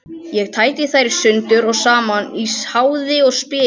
Ég tæti þær sundur og saman í háði og spéi.